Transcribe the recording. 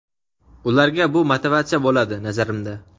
ularga bu motivatsiya bo‘ladi, nazarimda.